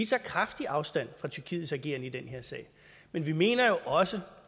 tager kraftigt afstand fra tyrkiets ageren i den her sag men vi mener også